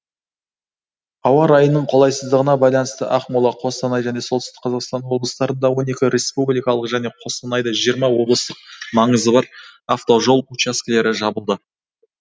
ауа райының қолайсыздығына байланысты ақмола қостанай және солтүстік қазақстан облыстарында он екі республикалық және қостанайда жиырма облыстық маңызы бар автожол учаскілері жабылды